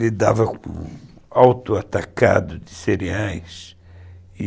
Lidava com o auto atacado de cereais e